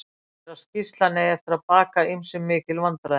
Talið er að skýrslan eigi eftir baka ýmsum mikil vandræði.